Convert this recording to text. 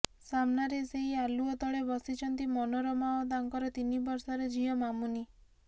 ସାମ୍ନାରେ ସେଇ ଆଲୁଅ ତଳେ ବସିଛନ୍ତି ମନୋରମା ଓ ତାଙ୍କର ତିନି ବର୍ଷର ଝିଅ ମାନୁନି